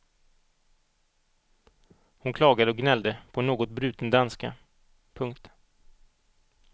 Hon klagade och gnällde på en något bruten danska. punkt